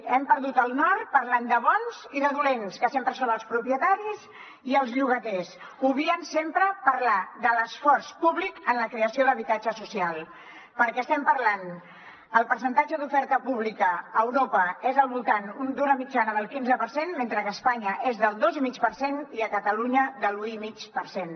hem perdut el nord parlant de bons i de dolents que sempre són els propietaris i els llogaters obviant sempre parlar de l’esforç públic en la creació d’habitatge social perquè estem parlant de que el percentatge d’oferta pública a europa és al voltant d’una mitjana del quinze per cent mentre que a espanya és del dos i mig per cent i a catalunya de l’u i mig per cent